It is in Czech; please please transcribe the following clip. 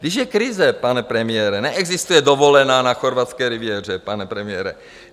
Když je krize, pane premiére, neexistuje dovolená na chorvatské riviéře, pane premiére.